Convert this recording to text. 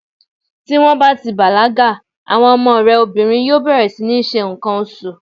Tí wón bá ti bàlágà, àwọn ọmọ ẹ obìnrin yóò bẹ̀rẹ̀ sí ní ṣe ǹkan oṣù.